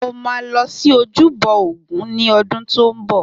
Mo ma lọ sí ojúbọ ògún ní odún tó ń bọ̀